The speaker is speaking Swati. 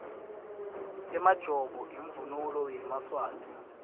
emajobo imvunulo yemaswati